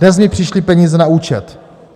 Dnes mi přišly peníze na účet.